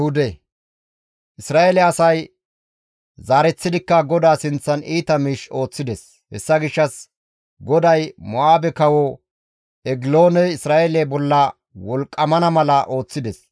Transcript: Isra7eele asay zaareththidikka GODAA sinththan iita miish ooththides; hessa gishshas GODAY Mo7aabe kawo Egilooney Isra7eele bolla wolqqamana mala ooththides.